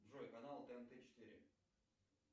джой канал тнт четыре